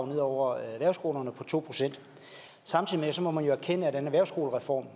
ned over erhvervsskolerne samtidig må man erkende at den erhvervsskolereform